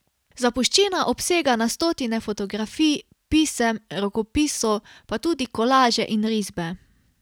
Zapuščina obsega na stotine fotografij, pisem, rokopisov, pa tudi kolaže in risbe.